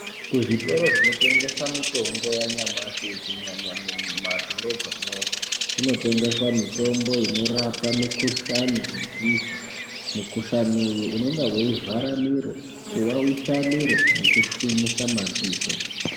Kuzvitoro zvinotengesa mitombo yanyamashi kunyanya mumadhorobhamo, kunotengeswa mitombo inorapa mikhuhlani nedzehwa. Mukhuhlani uyu unenge weivhara miro kuwawisa miro nekushwinyisa madziso.